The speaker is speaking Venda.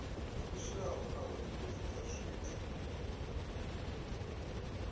fushaho nahone fhedzi kha zwithu